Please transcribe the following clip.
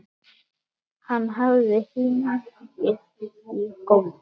Hann hafði hnigið í gólfið.